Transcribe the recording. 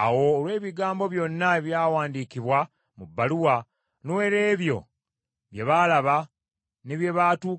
Awo olw’ebigambo byonna ebyawandiikibwa mu bbaluwa, n’olw’ebyo bye baalaba, n’ebyabatuukako,